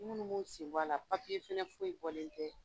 sen bɔ a la, fana foyi bɔlen kɛ.